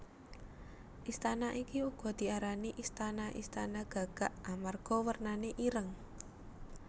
Istana iki uga diarani istana Istana Gagak amarga wernane ireng